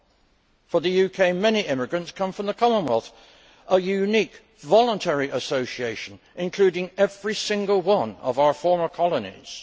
In the case of the UK, many immigrants come from the Commonwealth, a unique voluntary association including every single one of our former colonies.